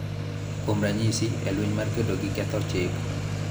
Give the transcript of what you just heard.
Kuom ranyisi, e lweny mar kedo gi ketho chik,